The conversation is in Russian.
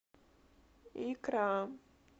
икра